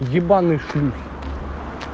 ебаные шлюхи